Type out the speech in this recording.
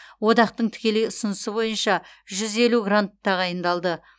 одақтың тікелей ұсынысы бойынша грант тағайындалды